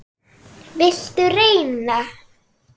Viltu reyna?